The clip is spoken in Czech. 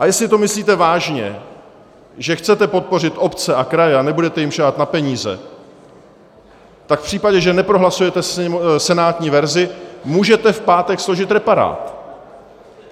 A jestli to myslíte vážně, že chcete podpořit obce a kraje a nebudete jim sahat na peníze, tak v případě, že neprohlasujete senátní verzi, můžete v pátek složit reparát.